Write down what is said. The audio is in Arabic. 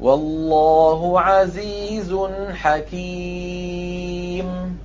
وَاللَّهُ عَزِيزٌ حَكِيمٌ